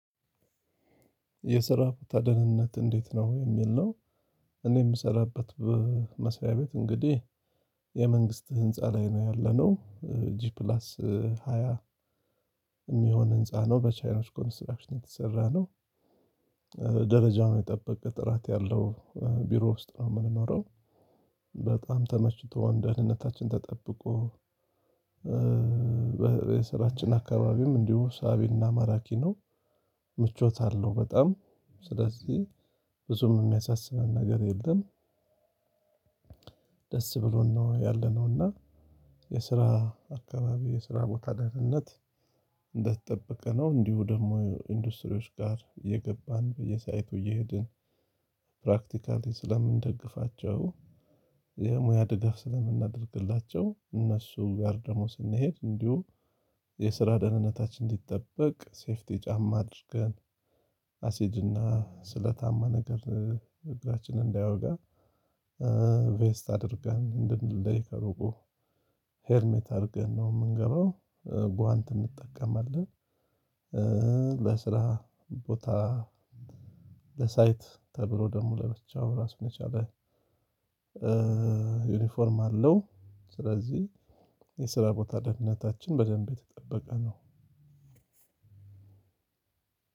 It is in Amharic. የስራ ቦታ ደህንነት እንዴት ነው? የሚል ነው። እኔ የምሰራበት በ መስሪያ ቤት እንግዲህ የመንግስት ህንፃ ላይ ነው ያለነው። ጂ ፕላስ ሃያ የሚሆን ህንፃ ነው። በቻይኖች ኮንስትራክሽን የተሰራ ነው። ደረጃውን የጠበቀ ጥራት ያለው ቢሮ ውስጥ ነው የምንኖረው። በጣም ተመችቶን ደህንነታችን ተጠብቆ በ የስራችን አካባቢም እንዲሁ ሳቢና ማራኪ ነው ምቾት አለው በጣም። ስለዚህ ብዙም የሚያሳስበን ነገር የለም። ደስ ብሎን ነው ያለነው እና የስራ አካባቢ የስራ ቦታ ደህንነት እንደተጠበቀ ነው። እንዲሁም ደግሞ እንድስትሪዎች ጋር እየገባን በየ ሳይቱ እየሄድን ፕራክቲካሊ ስለምንደግፋቸው፣ የሙያ ድጋፍ ስለምናደርግላቸው፣ እነሱ ጋር ደግሞ ስንሄድ እንዲሁም የስራ ደህንነታችን እንዲጠበቅ ሴፍቲ ጫማ አድርገን፣ አሲድና ስለታማ ነገር እግራችንን እንዳይወጋ ቬስት አድርገን እንድንለይ ከሩቁ ሄሜት አድርገን ነው የምንገባው። ጓንት እንጠቀማለን ለስራ ቦታ ለሳይት ተብሎ ደግሞ ለብቻው ራሱን የቻለ ዩኒፎርም አለው። ስለዚህ የስራ ቦታ ደህንነታችን በደንብ የተጠበቀ ነው።